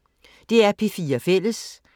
DR P4 Fælles